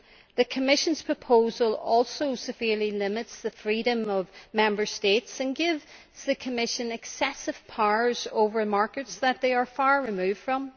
The Commission's proposal also severely limits the freedom of Member States and gives the Commission excessive powers over markets that they are far removed from.